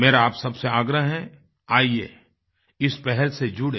मेरा आप सबसे आग्रह है आइये इस पहल से जुडें